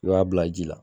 I b'a bila ji la